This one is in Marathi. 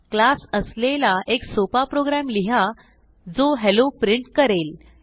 क्लास असलेला एक सोपा प्रोग्रॅम लिहा जो हेल्लो प्रिंट करेल